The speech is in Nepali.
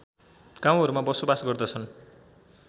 गाउँहरूमा बसोवास गर्दछन्